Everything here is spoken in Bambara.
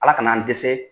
Ala ka n'an dɛsɛ